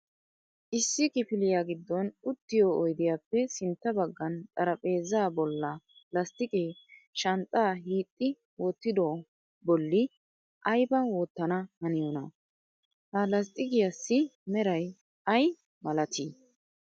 Issi kifiliya giddon uttiyo oydiyappe sintta baggan xarphpheeza bolla lasttiqe shanxxa hiixi wottidooha bolli aybba wottana haniyoona? Ha lasttiqiyassi meray ay malatii?